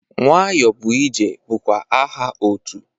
Nwayọbụije bụkwa aha otu.